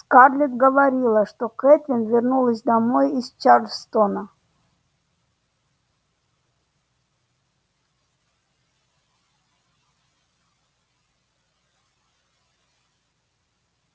скарлетт говорила что кэтлин вернулась домой из чарльстона